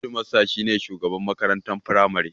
Hedimasta shi ne shugaban makarantar Firamare.